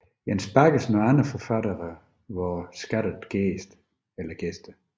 Jens Baggesen og andre forfattere var skattede gæster